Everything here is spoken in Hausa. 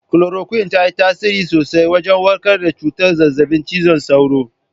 Kolorokwin ta yi tasiri sosai wajen warkar da cutar zazzabin cizon sauro